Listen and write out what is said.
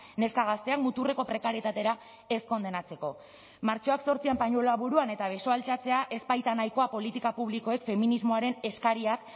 neska gazteak muturreko prekarietatera ez kondenatzeko martxoak zortzian pañueloa buruan eta besoa altxatzea ez baita nahikoa politika publikoek feminismoaren eskariak